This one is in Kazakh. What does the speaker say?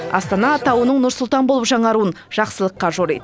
астана атауының нұр сұлтан болып жаңаруын жақсылыққа жориды